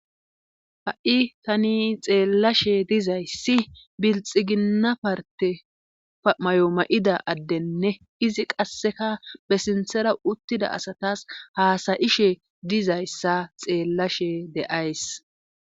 Ha'i tani xeellashe dizayssi bilxiginna parte mayo ma'ida addenne izi qasseka besinthera uttida asatas haasayishe dizayssa xeellashe de'ays.